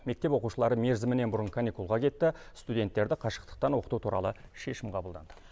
мектеп оқушылары мерзімінен бұрын каникулға кетті студенттерді қашықтықтан оқыту туралы шешім қабылданды